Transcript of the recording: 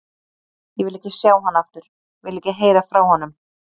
Ég vil ekki sjá hann aftur, vil ekki heyra frá honum.